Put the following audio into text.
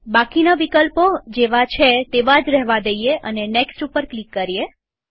બાકીના વિકલ્પો જેવા છે તેવા જ રેહવા દઈએ અને નેક્સ્ટ ઉપર ક્લિક કરીએ